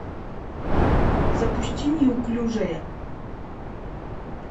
запусти неуклюжая